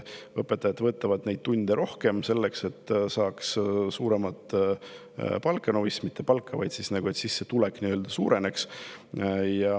Õpetajad teevad neid tunde selleks, et saaks suuremat palka – no vist mitte palka, aga suuremat sissetulekut.